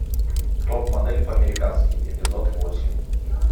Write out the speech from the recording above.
топ модель по американски эпизод восемь